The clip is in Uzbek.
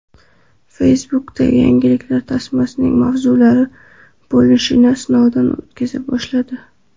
Facebook yangiliklar tasmasining mavzularga bo‘linishini sinovdan o‘tkaza boshladi.